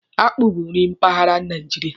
Akpụ bụ nri mpaghara Naijiria.